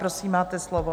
Prosím, máte slovo.